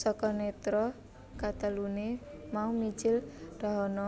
Saka nètra kateluné mau mijil dahana